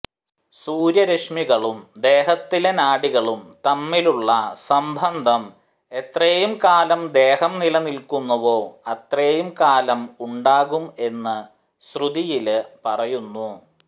സൂര്യരശ്മികളും ദേഹത്തിലെ നാഡികളും തമ്മിലുള്ള സംബന്ധം എത്രയും കാലം ദേഹം നിലനില്ക്കുന്നുവോ അത്രയും കാലം ഉണ്ടാകും എന്ന് ശ്രുതിയില് പറയുന്നു